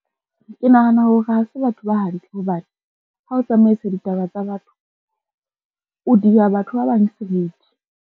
Ke nahana hore ha se batho ba hantle hobane ha o tsamaisa ditaba tsa batho, o dia batho ba bang seriti.